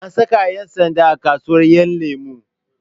An saka ƴan sanda a kasuwar ƴanlemo